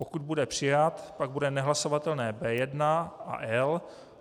Pokud bude přijat, bude nehlasovatelné B1 a L.